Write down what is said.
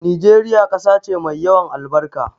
Nigeria ƙasa ce mai yawan albarka